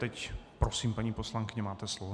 Teď prosím, paní poslankyně, máte slovo.